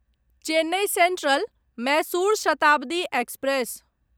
Chennai central Mysore Shatabdi express